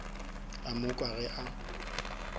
a mo kwa ge a